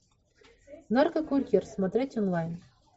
наркокурьер смотреть онлайн